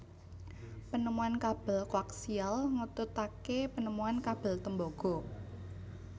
Penemuan kabel koaksial ngetutake penemuan kabel tembaga